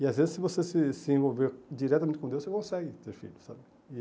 E às vezes se você se se envolver diretamente com Deus, você consegue ter filhos, sabe? E